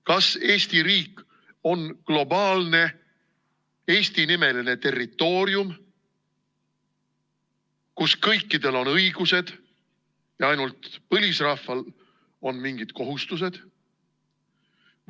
Kas Eesti riik on globaalne Eesti-nimeline territoorium, kus kõikidel on õigused ja ainult põlisrahval on mingid kohustused?